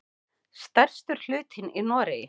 Stærstur hlutinn í Noregi.